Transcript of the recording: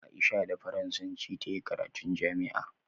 Aisha da faransanci tayi karatun jami'a